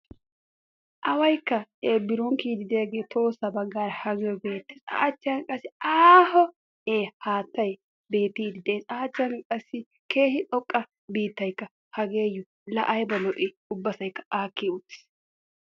awaykka biron kiyiyidi de'iyaage tohossa baggan ageho beettees. a achchan qassi keehi xoqqa biittaykka hageyo laa aybba lo''i ubbasaykka aaki uttiis.